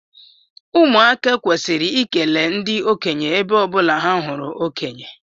Ụmụaka kwesiri ikele ndi okenye ebe ọbụla ha hụrụ okonye